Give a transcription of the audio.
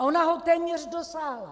A ona ho téměř dosáhla!